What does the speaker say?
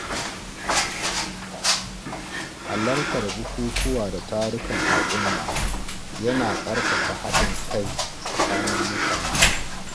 Halartar bukukuwa da tarukan al’umma yana ƙarfafa haɗin kai tsakanin mutane.